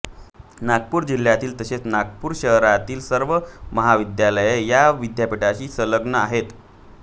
नागपूर जिल्ह्यातील तसेच नागपूर शहरातील सर्व महाविद्यालये या विद्यापीठाशी संलग्न आहेत